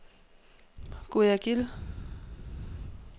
Guayaquil